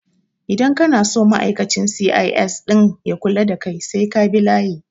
Idan kana so ma'aikacin C.I.S ɗin ya kula ka sai ka bi layi